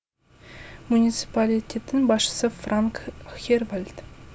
муниципалитеттің басшысы франк хервальд